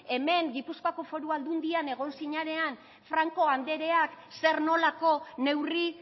hemen gipuzkoako foru aldundian egon zinanean franko andreak zer nolako neurri